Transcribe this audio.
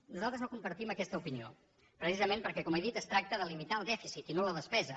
nosaltres no compartim aquesta opinió precisament perquè com he dit es tracta de limitar el dèficit i no la despesa